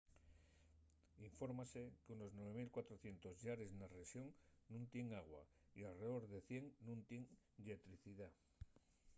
infórmase qu’unos 9400 llares na rexón nun tienen agua y alredor de 100 nun tienen lletricidá